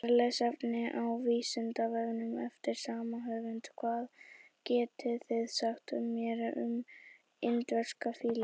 Frekara lesefni á Vísindavefnum eftir sama höfund: Hvað getið þið sagt mér um indverska fílinn?